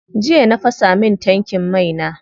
Jiya na fasa min tankin mai na.